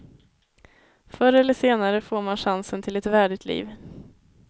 Förr eller senare får man chansen till ett värdigt liv.